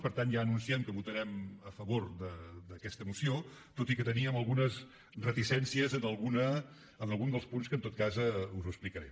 per tant ja anunciem que votarem a favor d’aquesta moció tot i que teníem algunes reticències en algun dels punts que en tot cas us explicaré